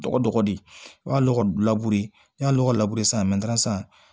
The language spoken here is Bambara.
Dɔgɔ dɔggɔ de i y'a lɔgɔ n'i y'a lɔgɔ labe sisan san